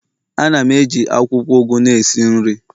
Ana m eji akwukwo ugu na esi nri